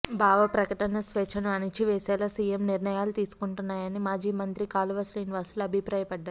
బావ ప్రకటన స్వేచ్ఛను అణిచి వేసేలా సీఎం నిర్ణయాలు ఉంటున్నాయని మాజీ మంత్రి కాలువ శ్రీనివాసులు అభిప్రాయపడ్డారు